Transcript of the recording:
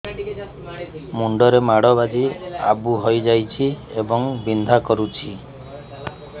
ମୁଣ୍ଡ ରେ ମାଡ ବାଜି ଆବୁ ହଇଯାଇଛି ଏବଂ ବିନ୍ଧା କରୁଛି